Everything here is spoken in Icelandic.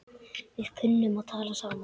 Við kunnum að tala saman.